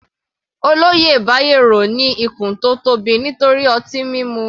Olóyè Bayero ní ikùn tó tóbi nítorí ọtí mímu.